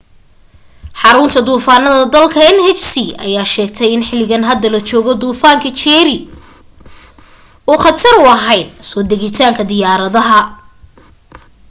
xaruunta duufaanka dalka nhc ayaa sheegtay in xiligan hadda la joogo duufaanka jerry uu khatar u ahayn soo degitaanka diyaaradaha